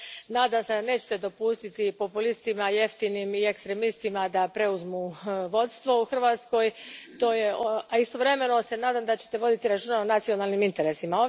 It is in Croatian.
Nadam se da nećete dopustiti populistima jeftinim i ekstremistima da preuzmu vodstvo u Hrvatskoj, a istovremeno se nadam da ćete voditi računa o nacionalnim interesima.